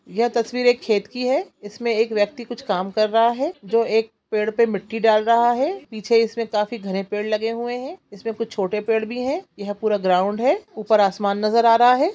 यह तस्वीर एक खेत की है| इसमें एक व्यक्ति कुछ काम कर रहा है जो एक पेड़ पे मिट्टी डाल रहा है| पीछे इसमें काफी घने पेड़ लगे हुए हैं| इसमें कुछ छोटे पेड़ भी है| यह पूरा ग्राउन्ड है ऊपर आसमान नजर आ रहा है।